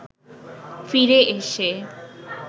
ফিরে এসে